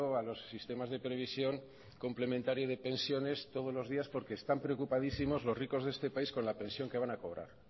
a los sistemas de previsión complementario de pensiones todos los días porque están preocupadísimos los ricos de este país con la pensión que van a cobrar